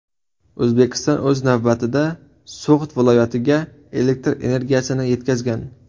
O‘zbekiston, o‘z navbatida, So‘g‘d viloyatiga elektr energiyasini yetkazgan.